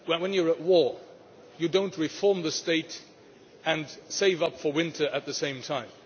When you are at war, you do not reform the state and save up for winter at the same time.